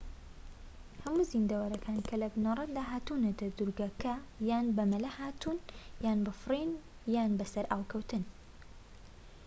هەموو زیندەوەرەکان کە لە بنەرەتدا هاتوونەتە دوورگەکە یان بە مەلە هاتوون یان بە فڕین یان بە سەرئاوکەوتن